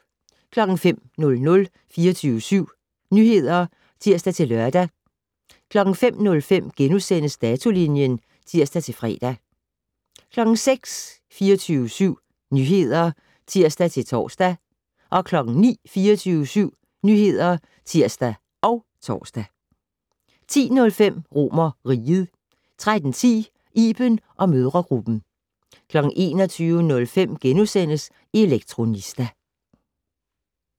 05:00: 24syv Nyheder (tir-lør) 05:05: Datolinjen *(tir-fre) 06:00: 24syv Nyheder (tir-tor) 09:00: 24syv Nyheder (tir og tor) 10:05: RomerRiget 13:10: Iben & mødregruppen 21:05: Elektronista *